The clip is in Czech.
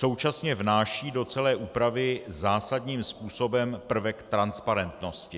Současně vnáší do celé úpravy zásadním způsobem prvek transparentnosti.